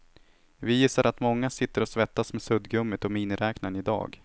Vi gissar att många sitter och svettas med suddgummit och miniräknaren i dag.